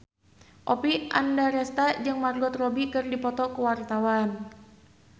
Oppie Andaresta jeung Margot Robbie keur dipoto ku wartawan